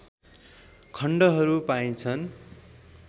खण्डहर पाइन्छन